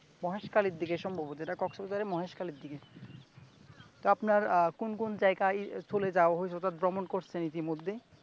মহেশখালীর দিকে সম্ভবত কক্সবাজারের মহেশখালীর দিকে তো আপনার কোন কোন জায়গায় চলে যাওয়া হয়েছে অর্থাৎ ভ্রমন করছেন ইতিমধ্যে।